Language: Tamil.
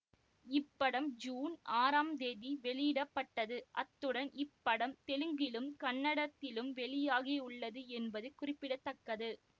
இப்படம் ஜூன் ஆறாம் தேதி வெளியிட பட்டது அத்துடன் இப்படம் தெலுங்கிலும் கன்னடத்திலும் வெளியாகிவுள்ளது என்பது குறிப்பிட தக்கது